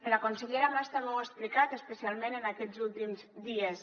la consellera mas també ho ha explicat especialment en aquests últims dies